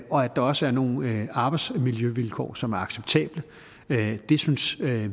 der også er nogle arbejdsmiljøvilkår som er acceptable det synes